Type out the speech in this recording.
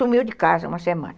Sumiu de casa uma semana.